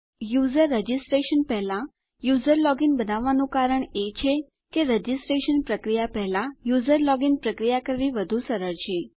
user registration પહેલા user login બનાવવાનું કારણ એ છે કે રજીસ્ટ્રેશન પ્રક્રિયા પહેલા યુઝર લોગિન પ્રક્રિયા કરવી વધું સરળ છે